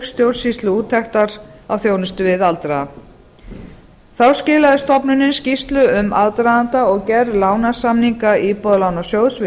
stjórnsýsluúttektar á þjónustu við aldraða þá skilaði stofnunin skýrslu um aðdraganda og gerð lánasamninga íbúðalánasjóðs við